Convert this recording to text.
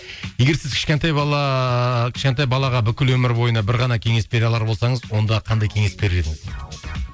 егер сіз кішкентай бала кішкентай балаға бүкіл өмір бойына бір ғана кеңес бере алар болсаңыз онда қандай кеңес берер едіңіз дейді